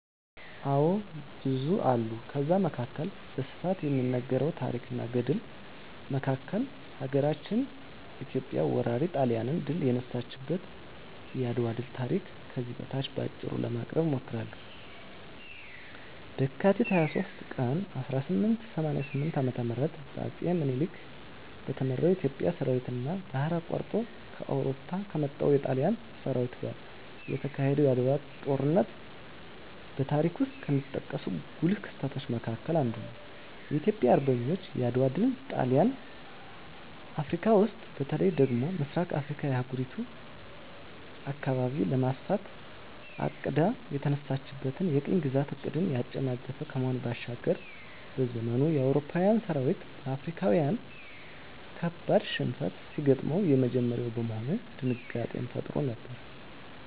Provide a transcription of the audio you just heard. አዎ ብዙ አሉ ከዛ መካከል በስፋት ከሚነገረው ታረክ እና ገድል መካከል ሀገራችን ኢትዮጵያ ወራሪ ጣሊያንን ድል የነሳችበት የአድዋ ድል ታሪክ ከዚህ በታች በአጭሩ ለማቅረብ እሞክራለሁ፦ በካቲት 23 ቀን 1888 ዓ.ም በአጼ ምኒልክ በተመራው የኢትዮጵያ ሠራዊትና ባህር አቋርጦ ከአውሮፓ ከመጣው የጣሊያን ሠራዊት ጋር የተካሄደው የዓድዋው ጦርነት በታሪክ ውስጥ ከሚጠቀሱ ጉልህ ክስተቶች መካከል አንዱ ነው። የኢትዮጵያ አርበኞች የዓድዋ ድል ጣሊያን አፍረካ ውስጥ በተለይ ደግሞ በምሥራቁ የአህጉሪቱ አካባቢ ለማስፋፋት አቅዳ የተነሳችለትን የቅኝ ግዛት ዕቅድን ያጨናገፈ ከመሆኑ ባሻገር፤ በዘመኑ የአውሮፓዊያን ሠራዊት በአፍሪካዊያን ካበድ ሽንፈት ሲገጥመው የመጀመሪያ በመሆኑ ድንጋጤንም ፈጥሮ ነበር።